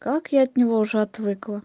как я от него уже отвыкла